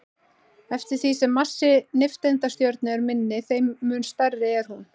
Eftir því sem massi nifteindastjörnu er minni, þeim mun smærri er hún.